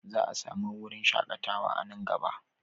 Za a sami wurin shakatawa a nan gaba.